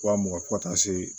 Wa mugan fɔ ka taa se